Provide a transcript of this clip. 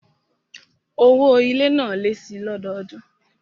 Owó ilé náà lé síi lọ́dọọdún